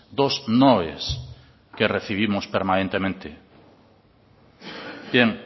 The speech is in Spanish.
dos noes que recibimos permanentemente bien